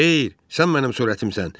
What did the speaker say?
Xeyr, sən mənim surətimsən.